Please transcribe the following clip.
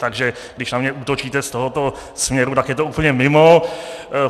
Takže když na mě útočíte z tohoto směru, tak je to úplně mimo.